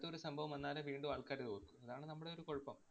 അടുത്തൊരു സംഭവം വന്നാലെ വീണ്ടും ആള്‍ക്കാര് അതോര്‍ക്കൂ. അതാണ് നമ്മടെ ഒരു കൊഴപ്പം.